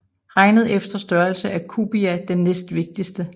Regnet efter størrelse er Cubia den næstvigtigste